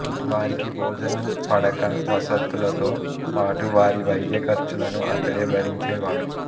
వారికి భోజనం పడక వసతులతో పాటు వారి వైద్య ఖర్చులను అతనే భరించేవాడు